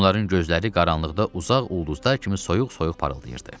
Onların gözləri qaranlıqda uzaq ulduzlar kimi soyuq-soyuq parıldayırdı.